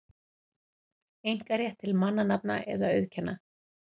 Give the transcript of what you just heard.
einkarétt til mannanafna eða auðkenna.